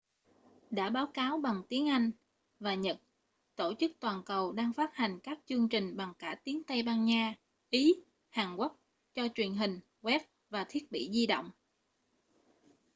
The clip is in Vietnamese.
đã báo cáo bằng tiếng anh và nhật tổ chức toàn cầu đang phát hành các chương trình bằng cả tiếng tây ban nha ý hàn quốc cho truyền hình web và thiết bị di động